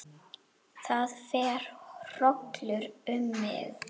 Það fer hrollur um mig.